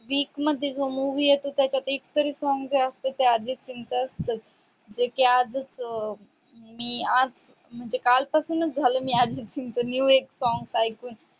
week मध्ये जो movie येते. त्याच्यात एक तरी जो song असते. ते अर्जित सिंगच असतस म्हणजे आजस मी आज म्हणजे काल पासून झाल अर्जित सिंगच new एक song ऐकून.